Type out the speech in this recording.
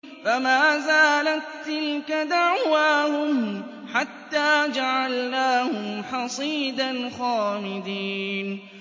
فَمَا زَالَت تِّلْكَ دَعْوَاهُمْ حَتَّىٰ جَعَلْنَاهُمْ حَصِيدًا خَامِدِينَ